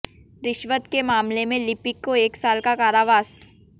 रिश्वत के मामले में लिपिक को एक साल का कारावास